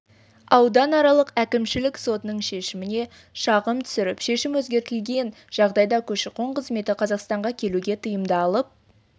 ауданаралық әкімшілік сотының шешіміне шағым түсіріп шешім өзгертілген жағдайда көші-қон қызметі қазақстанға келуге тыйымды алып